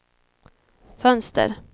fönster